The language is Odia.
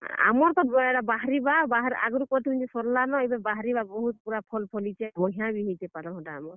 ଆମର୍ ତ ଏଟା, ବାହାରିବା, ଆଗରୁ କରିଥିଲୁଁ ଯେ ସର୍ ଲା ନ ଏବେ ବାହାରିବା, ବହୁତ୍ ପୁରା ଫଲ ଫଲିଛେ। ବଢିଆଁ ବି ହେଇଛେ ପତଲଘଣ୍ଟା ଆମର୍।